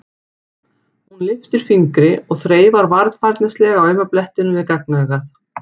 Hún lyftir upp fingri og þreifar varfærnislega á auma blettinum við gagnaugað.